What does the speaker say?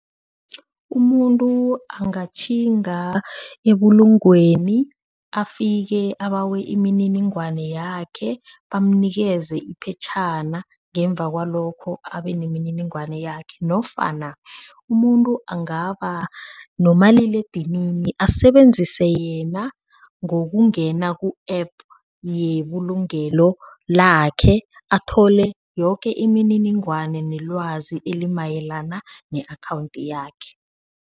Umuntu angatjhinga ebulungweni afike abawe imininingwana yakhe, bamunikeza iphetjhana ngemva kwalokho abe nemininingwana yakhe nofana umuntu angaba nomaliledinini asebenzise yena ngokungena ku-app yebulungelo lakhe athole yoke imininingwana nelwazi elimayelana ne-akhawundi yakhe.